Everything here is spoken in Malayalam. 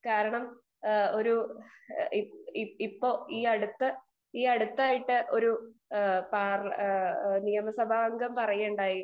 സ്പീക്കർ 2 കാരണം ഇപ്പം ഈയടുത്തായിട്ട് ഒരു നിയമസാഭംഗം പറയുകയുണ്ടായി